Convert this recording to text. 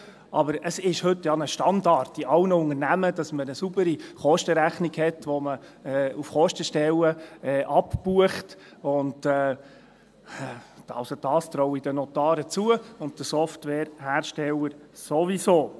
Aber es ist heute ja ein Standard in allen Unternehmungen, dass man eine saubere Kostenrechnung hat, wo man auf Kostenstellen abbucht, und das traue ich den Notaren zu und den Softwareherstellern ohnehin.